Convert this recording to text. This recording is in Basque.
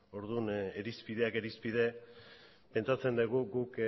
orduan irizpideak irizpide pentsatzen dugu guk